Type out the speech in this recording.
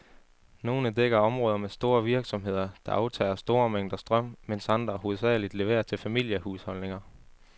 Nogle dækker områder med store virksomheder, der aftager store mængder strøm, mens andre hovedsageligt leverer til familiehusholdninger.